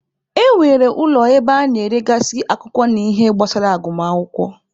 E nwere ụlọ ebe a na-eregasị akwụkwọ na ihe gbasara agụmakwụkwọ.